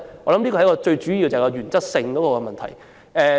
我相信這是最主要的原則問題。